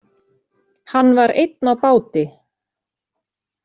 Hann var einn á báti.